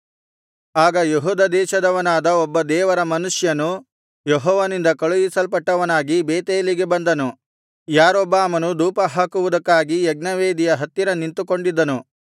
ಆಗ ಯೆಹೂದ ದೇಶದವನಾದ ಒಬ್ಬ ದೇವರ ಮನುಷ್ಯನು ಯೆಹೋವನಿಂದ ಕಳುಹಿಸಲ್ಪಟ್ಟವನಾಗಿ ಬೇತೇಲಿಗೆ ಬಂದನು ಯಾರೊಬ್ಬಾಮನು ಧೂಪಹಾಕುವುದಕ್ಕಾಗಿ ಯಜ್ಞವೇದಿಯ ಹತ್ತಿರ ನಿಂತುಕೊಂಡಿದ್ದನು